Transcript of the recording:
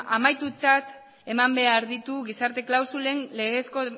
amaitutzat eman behar ditu gizarte klausulen